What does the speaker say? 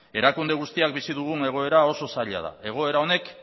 erakunde guztiak bizi dugun egoera oso zaila da egoera hau